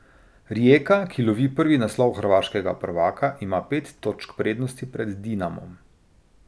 Rijeka, ki lovi prvi naslov hrvaškega prvaka, ima pet točk prednosti pred Dinamom.